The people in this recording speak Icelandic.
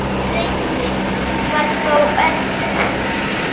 Reyndin var þó önnur.